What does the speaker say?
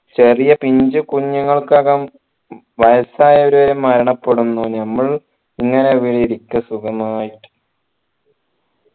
ചെറിയ പിഞ്ചു കുഞ്ഞുങ്ങൾക്കകം വയസ് ആയവർ വരെ മരണപ്പെടുന്നു നമ്മൾ ഇങ്ങനെ ഇവിടെ ഇരിക്ക സുഖമായിട്ട്